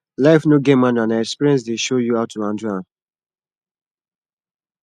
life no get manual na experience dey show you how to handle am